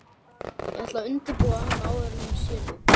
Ég ætla að undirbúa hann áður en hann sér þig